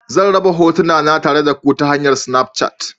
Zan raba hotuna na tare da ku ta hanyar Snafchat.